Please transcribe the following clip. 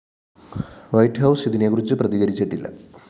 white House ഇതിനെക്കുറിച്ച് പ്രതികരിച്ചിട്ടില്ല